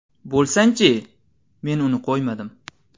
Bo‘lsangchi!” men uni qo‘ymadim.